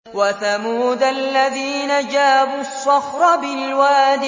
وَثَمُودَ الَّذِينَ جَابُوا الصَّخْرَ بِالْوَادِ